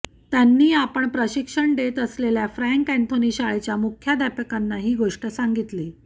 त्यांनी आपण प्रशिक्षण देत असलेल्या फँ्रक अँथोनी शाळेच्या मुख्याध्यापकांना ही गोष्ट सांगितली